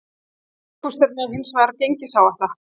Helsti ókosturinn er hins vegar gengisáhætta.